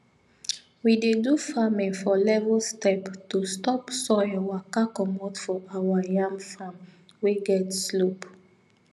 we dey do farming for level step to stop soil waka comot for our yam farm wey get slope